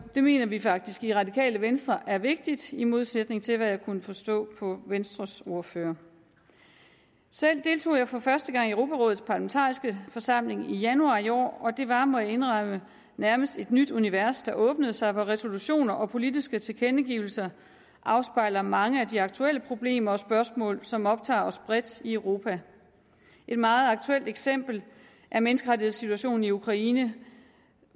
det mener vi faktisk i radikale venstre er vigtigt i modsætning til hvad jeg kunne forstå på venstres ordfører selv deltog jeg for første gang i europarådets parlamentariske forsamling i januar i år og det var må jeg indrømme nærmest et nyt univers der åbnede sig hvor resolutioner og politiske tilkendegivelser afspejler mange af de aktuelle problemer og spørgsmål som optager os bredt i europa et meget aktuelt eksempel er menneskerettighedssituationen i ukraine